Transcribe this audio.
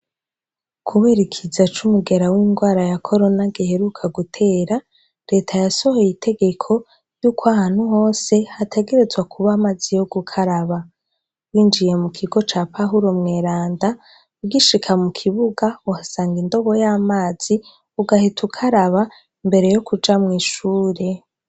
Kubera ikiza c’umugera w’indwara ya Corona giheruka gutera, reta yasohoye itegeko yuko ahantu hose hategerezwa kuba amazi yo gukaraba, winjiye mu kigo ca pahuro mwerenda ugishika mu kibuga uhasanga indobo y’amazi ugahita ukaraba imbere yo kuja mw’ishure.